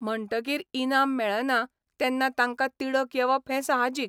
म्हणटकीर इनाम मेळना तेन्ना तांकां तिडक येवप हें साहजीक.